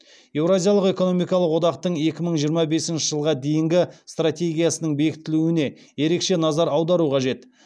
еуразиялық экономикалық одақтың екі мың жиырма бесінші жылға дейінгі стратегиясының бекітілуіне ерекше назар аудару қажет